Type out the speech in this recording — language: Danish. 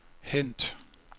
hent